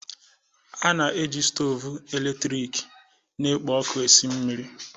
A na-eji stovu eletrik na-ekpo ọkụ esi mmiri.